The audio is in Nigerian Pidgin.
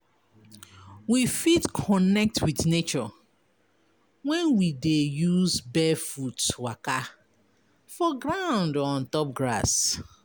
We fit connect with nature when we dey use barefoot waka for ground or on top grass